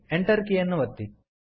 Enter ಕೀಯನ್ನು ಒತ್ತಿ